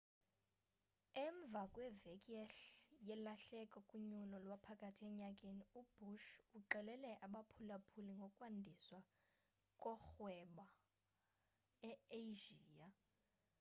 emva kweveki yelahleko kunyulo lwaphakathi enyakeni ubush uxelele abaphulaphuli ngokwandiswa korhwebo e-asia